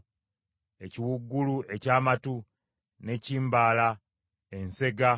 ekiwuugulu eky’amatu, ne kimbala, ensega,